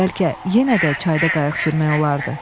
Bəlkə yenə də çayda qayıq sürmək olardı.